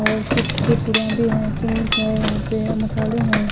और चिप्स के पूढ़ा भी हैं चिंग्स है यहां पे मसाले हैं।